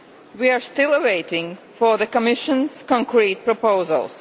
We are still waiting for the Commission's concrete proposals.